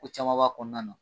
ko caman b'a kɔnɔna na.